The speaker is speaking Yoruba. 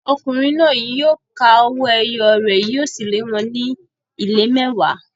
Ọkùnrin náà yóò ka owó ẹyọ rẹ̀, yóò sì lé wọn ní ìlé mẹ́wàá.